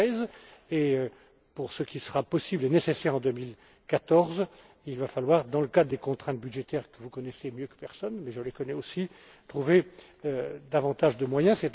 2013. Pour ce qui sera possible et nécessaire en 2014, il va falloir dans le cadre des contraintes budgétaires que vous connaissez mieux que personne mais je les connais aussi trouver davantage de moyens.